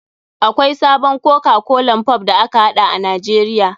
Akwai sabon koka kolan pop da aka haɗa a nijeria.